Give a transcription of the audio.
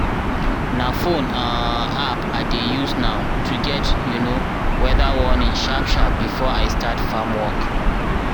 na phone um app i dey use now to get um weather warning sharp-sharp before i start farm work.